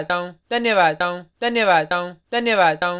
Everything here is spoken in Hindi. धन्यवाद